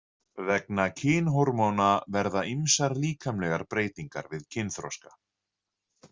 Vegna kynhormóna verða ýmsar líkamlegar breytingar við kynþroska.